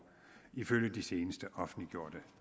ifølge de seneste offentliggjorte